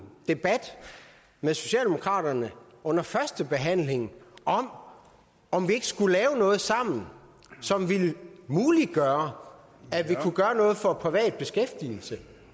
debat med socialdemokraterne under førstebehandlingen om om vi ikke skulle lave noget sammen som ville muliggøre at vi kunne gøre noget for privat beskæftigelse